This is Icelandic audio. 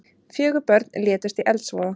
Fjögur börn létust í eldsvoða